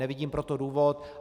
Nevidím pro to důvod.